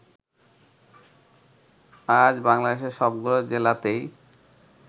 আজ বাংলাদেশের সবগুলো জেলাতেই